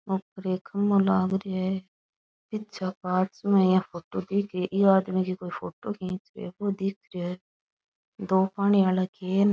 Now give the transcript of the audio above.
ऊपर एक खम्बो लाग रेहा है पीछे कांच में या फोटो दिख री ये आदमी की कोई फोटो खींच रेयो वो दीख रेहो है दो पानी वाला केन --